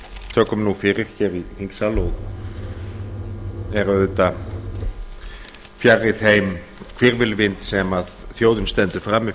tökum nú fyrir hér í þingsal er auðvitað fjarri þeim hvirfilvindi sem þjóðin stendur frammi